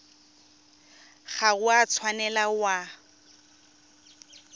ga o a tshwanela wa